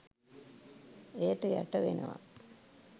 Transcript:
එයට යටවෙනවා.